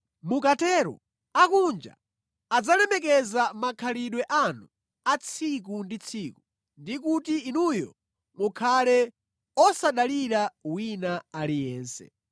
Mukatero akunja adzalemekeza makhalidwe anu a tsiku ndi tsiku, ndi kuti inuyo mukhale osadalira wina aliyense.